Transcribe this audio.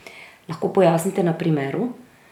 Lahko pojasnite na primeru?